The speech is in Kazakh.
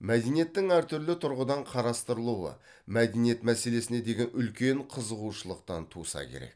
мәдениеттің әртүрлі тұрғыдан қарастырылуы мәдениет мәселесіне деген үлкен қызығушылықтан туса керек